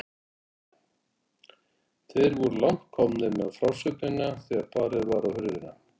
Þeir voru langt komnir með frásögnina þegar barið var á hurðina.